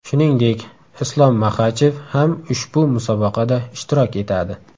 Shuningdek, Islom Maxachev ham ushbu musobaqada ishtirok etadi.